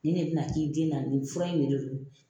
Nin de bɛna k'i den na nin fura in yɛrɛ don